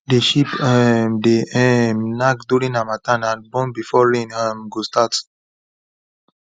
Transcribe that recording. the sheep um dey um knack during harmattan and born before rain um go start